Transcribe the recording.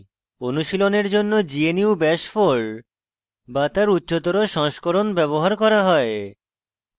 অনুশীলনের জন্য gnu bash 4 bash তার উচ্চতর সংস্করণ ব্যবহার করা হয়